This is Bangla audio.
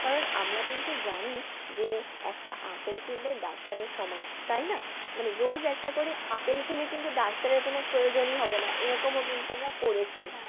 কারণ আমরা কিন্তু জানি যে একটা আপেল কিন্তু একটা ডাক্তারের সমান মানে রোজ একটা করে আপেল খেলে কিন্তু ডাক্তারের কোন প্রয়োজনই হবে না এরকমও কিন্তু আমরা পড়েছি।